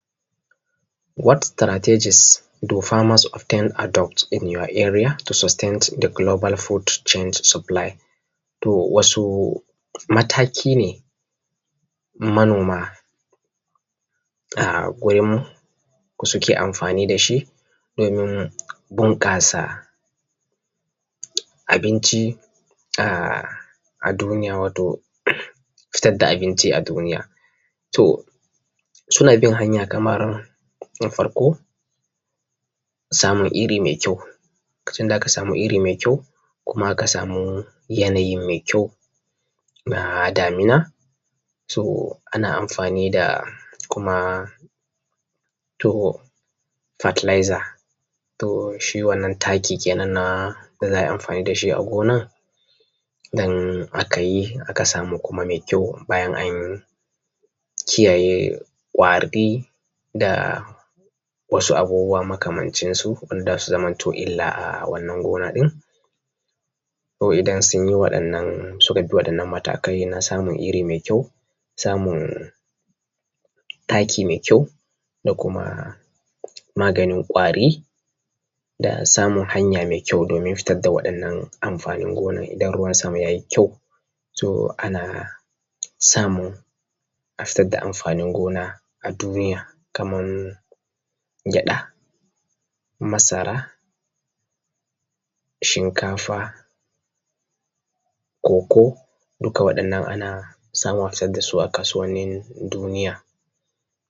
What strategies do farmers obtain adopt in your area to sustain the global food chain supply? To, wasu mataki ne manoma a gurinku suke amfani da shi domin bunƙasa abinci ah duniya, wato fitad da abinci a duniya. To, suna bin hanya kamar; na farko, samun iri mai kyau, lokacin da ka samu iri mai kuma ka samu yanayi mai kyau na damina, to ana amfani da kuma to fertilizer, to shi wannan taki kenan na da za a yi amfani da shi a gona don akayi aka samu kuma mai kyau, bayan an kiyaye ƙwardi da wasu abubuwa makamancinsu wanda za su zamanto illa a wannan gona ɗin.. ko idan suka bi matakai na samun wannan iri mai kyau, samun taki mai kyau, da kuma maganin ƙwari da samun hanya mai kyau domin fitad da waɗannan amfanin gonan idan har ruwan sama yayi kyau, to ana samun a fitar da amfanin gona a duniya kaman gyaɗa, masara, shinkafa, cocoa, duka waɗannan ana samun a fitad da su a kasuwannin duniya.